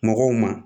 Mɔgɔw ma